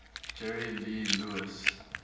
jerry lee lewis